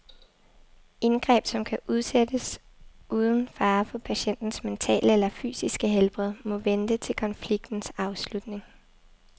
Indgreb, som kan udsættes uden fare for patientens mentale eller fysiske helbred, må vente til konfliktens afslutning.